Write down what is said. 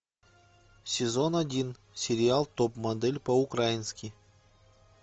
сезон один сериал топ модель по украински